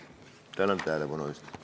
Tänan tähelepanu eest!